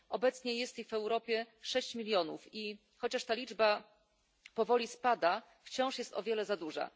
Obecnie jest ich w Europie 6 milionów i chociaż ta liczba powoli spada, wciąż jest o wiele za duża.